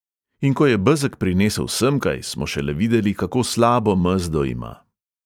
In ko je bezeg prinesel semkaj, smo šele videli, kako slabo mezdo ima.